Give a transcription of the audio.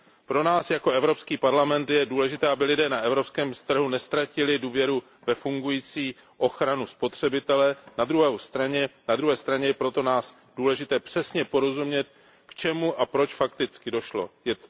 Pro nás jako Evropský parlament je důležité, aby lidé na evropském trhu neztratili důvěru ve fungující ochranu spotřebitele. Na druhé straně je pro nás důležité přesně porozumět k čemu fakticky došlo a proč.